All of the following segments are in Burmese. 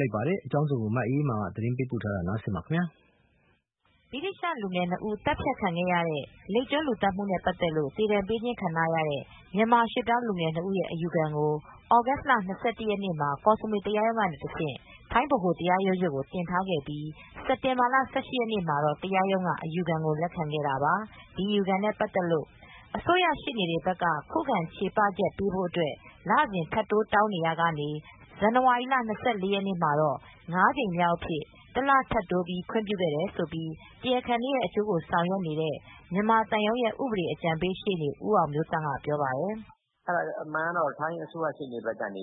လိုက်ပါတယ်။ ဗွီအိုမြန်မာပိုင်းသတင်းထောက် မအေးမာက သတင်းပေးပို့ထားပါတယ်။ ဗြိတိသျှလူငယ်နှစ်ဦး သတ်ဖြတ်ခံခဲ့ရတဲ့ လိပ်ကျွန်းလူသတ်မှုနဲ့ ပတ်သက်လို့ သေဒဏ်ပေးခြင်းခံ ထားရတဲ့ မြန်မာရွှေ့ပြောင်းလူငယ်နှစ်ဦးရဲ့ အယူခံကို သြဂုတ်လ ၂၁ရက်နေ့မှာ ကော့စမွေတရားရုံးကတဆင့် ထိုင်းဗဟိုတရားရုံးချုပ်ကို တင်ထားခဲ့ပြီး စက်တင်ဘာလ ၁၈ရက်နေ့မှာတော့ တရားရုံးကနေ အယူခံကိုလက်ခံခဲ့ပါတယ်။ ဒီအယူခံနဲ့ ပတ်သက်လို့အစိုးရှေ့နေတွေဘက်က ခုခံချေပချက်ပေးဖို့အတွက် လစဉ်ထပ်တိုးတောင်းဆိုနေရာမှာ ဇန်နဝါရီလ ၂၄ရက်နေမှာတော့ ၅ ကြိမ်မြောက်အဖြစ် တလထပ်တိုးပြီး ခွင့်ပြုခဲ့တယ်လို့ တရားခံတွေရဲ့ အကျိုးဆောင်ရွက်နေတဲ့မြန်မာသံရုံးရဲ့ ဥပဒေအကြံပေး ရှေ့နေဦးအောင်မျိုးသန့် က ပြောပါတယ်။ “အမှန်တော့ ထိုင်းအစိုးရရှေ့နေဘက်ကနေ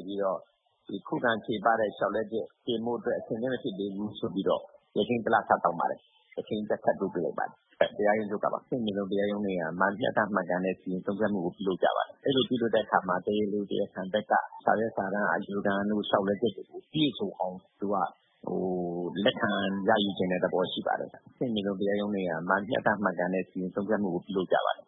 ခုခံလျှောက်လဲချက်တင်ဖို့ အတွက် အဆင်သင့်မဖြစ်သေးဘူးဆိုပြီး ရက်ချိန်း တလ ထပ်တောင်းပါတယ်။ရက်ချိန်း တလ ထပ်တိုးပေး လိုက်ပါတယ်။ တရားရုံးချုပ်ကပါ။ အဆင်မြင့်ဆုံးတရားရုံးတွေက မျှတမှန်ကန်တဲ့ စီရင်ဆုံးဖြတ်မှု ကိုပြုလုပ်ကြပါတယ်။ အဲဒီလိုပြုလုပ်တဲ့အခါမှာ တရားလို၊ တရားခံတွေဘက်ကနေ စာရွက်စာတမ်းအယူခံတို့၊ လျောက်လဲချက်တွေကို ပြည့်စုံအောင် လက်ခံရယူချင်တဲ့ သဘောရှိပါတယ်။ အဆင့်မြင့်ဆုံးတရားရုံးတွေက မျှတမှန်ကန်တဲ့စီရင်ဆုံးဖြတ်မှုကို လုပ်ကြပါတယ်။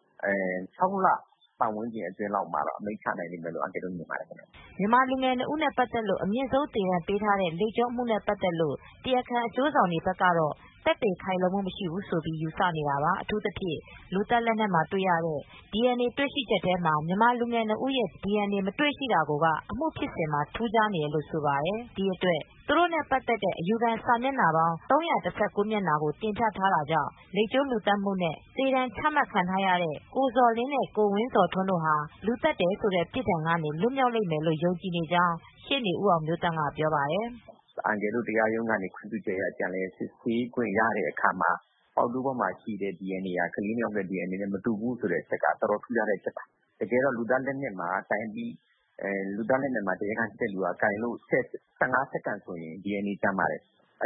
၆လလောက် ပတ်ဝန်းကျင်အတွင်းလောက်မှာတော့ အမိန့်ချဖြစ်လိမ့်မယ်လို့ထင်ပါတယ်။” မြန်မာလူူငယ်နှစ်ဦးနဲ့ ပတ်သက်လို့အမြင့်ဆုံး သေဒဏ်ပေးထားတဲ့ လိပ်ကျွန်းအမူနဲ့ပတ်သက်လို့ တရားခံအကျိုးဆောင်တွေဘက်ကတော့ သက်သေခိုင်လုံမူမရှိဘူးလို့ ယူဆနေတာပါ။ အထူးသဖြင့် လူသတ်လက်နက်မှာတွေရတဲ့ DNA တွေ့ရှိချက်ထဲမှာ မြန်မာလူငယ်နှစ်ဦး ရဲ့ DNA မတွေ့ရှိတာကို က အမူဖြစ်စဉ်မှာ ထူးခြားနေတယ်လို့ ဆိုပါတယ်။ ဒီအတွက် သူတိုနဲ့ ပတ်သက်တဲ့ အယူခံစာမျက်နှာပေါင်း ၃၁၉မျက်နှာကို တင်ပြထားတာကြောင့် လိပ်ကျွန်း လူသတ်မှုနဲ့ သေဒဏ်ချမှတ်ခံထားရတဲ့ ကိုဇော်လင်းနဲ့ ကိုဝင်းဇော်ထွန်းတို့ သတ်တယ်ဆိုတဲ့ ပြစ်ဒဏ်ကနေ လွတ်မြောက်လိမ့်မယ်လို့ယုံကြည်နေကြောင်း ရှေ့နေဦးအောင်မျိုးသန့် ကပြောပါတယ်။ “အန်ကယ်တို့ အနေနဲ့ တရားရုံးကနေခွင့်ပြချုက်အရ ပြန်လည်စစ်ဆေးခွင့်ရတော့ ပေါက်တူးပေါ်မှာတွေ့တဲ့ DNA က ကလေး နှစ် ဦး DNA မတူဘူးဆိုတာ အတော်ထူးခြားတဲ့ အဓိက အချက်ပါ။ တကယ်တော့ လူသတ်လက်နက်မှာ တရားခံက ကိုင်တယ်ဆိုရင် ၁၅စက္ကန့် ဆို DNA ကျန်ပါတယ်။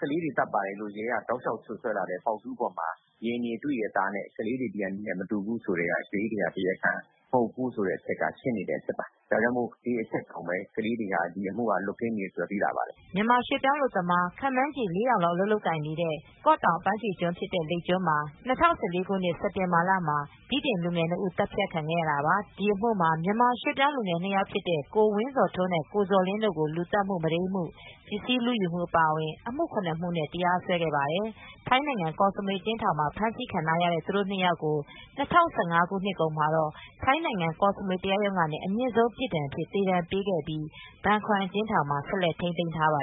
ကလေးတွေသတ်ပါတယ်ဆိုတဲ့ ရဲက တောက်လျှောက်စွပ်စွဲလာတဲ့ ပေါက်တူးပေါ်မှာ DNA တွေ့တယ်။ အဲဒီ DNA ဟာ ကလေးတွေ DNA မဟုတ်ဘူးဆိုတာနဲ့ ရှင်းနေတဲ့ ကိစ္စပါ။ ဒီအတွက်ကလေးတွေဟာ ဒီအမှုက လွတ်ကင်းမယ်လို့သိသာနိုင်ပါတယ်။ မြန်မာရွှေ့ပြောင်းအလုပ်သမား ခန့်မှန်းချေ ၄,၀၀၀ လောက် အလုပ်လုပ်ကိုင်နေတဲ့ ကော့တောင်အပမ်းဖြေကျွန်း ဖြစ်တဲ့ လိပ်ကျွန်းမှာ ၂၀၁၄ ခုနှစ် စက်တင်ဘာလမှာ ဗြိတိန်လူငယ် နှစ် ဦး သတ်ခံခဲ့ရတာပါ။ ဒီအမှုမှာ မြန်မာရွှေ့ပြောင်းလူငယ် နှစ်ယောက်ဖြစ်တဲ့ ကိုဝင်းဇော်ထွန်းနဲ့ ကိုဇော်လင်းတို့ကို လူသတ်မှု၊ မုဒိမ်းမှု၊ ပစ္စည်းလူယူမှု အပါအဝင် အမှု ၇ မှုနဲ့ တရားစွဲခဲ့ပါတယ်။ ထိုင်းနိုင်ငံကော့စမွေ အကျဉ်းထောင်မှာ ဖမ်းဆီးခံထားရတဲ့ သူတို့ နှစ် ယောက်ကို ၂၀၁၅ ခုနှစ်ကုန်မှာတော့ ကောစမွေတရားရုံးကနေ အမြင့်ဆုံးပြစ်ဒဏ်အဖြစ် သေဒဏ်ပေးခဲ့ပြီး ဘန်ခွမ်အကျဉ်းထောင်မှာ ဆက်လက်ထိမ်းသိမ်းထားပါ